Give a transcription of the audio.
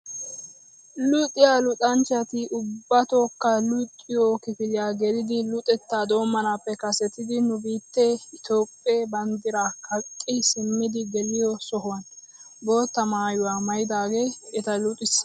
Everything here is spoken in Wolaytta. Luxiyaa luxanchchati ubbatookka luxiyoo kifiliyaa gelidi luxettaa doommanappe kasettidi nu biittee Itoophphee banddiraa kaqqi simmidi geliyo sohuwaan bootta maayuwa maayidagee eta luxissiyaagaa.